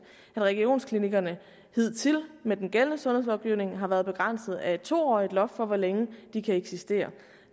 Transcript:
at regionsklinikkerne hidtil med den gældende sundhedslovgivning har været begrænset af et to årig loft for hvor længe de kan eksistere